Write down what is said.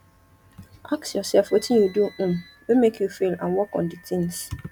ask yourself wetin you do um wey make you fail and work on di things